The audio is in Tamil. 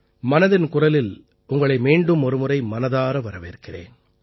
மனதின் குரலில் உங்களை மீண்டும் ஒருமுறை மனதார வரவேற்கிறேன்